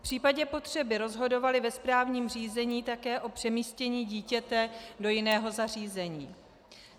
V případě potřeby rozhodovaly ve správním řízení také o přemístění dítěte do jiného zařízení.